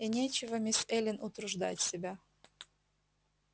и нечего мисс эллин утруждать себя